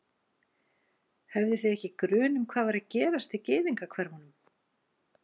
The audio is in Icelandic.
Höfðuð þið ekki grun um hvað var að gerast í gyðingahverfunum?